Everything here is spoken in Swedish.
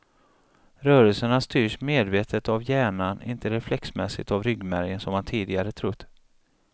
Rörelserna styrs medvetet av hjärnan, inte reflexmässigt av ryggmärgen som man tidigare trott.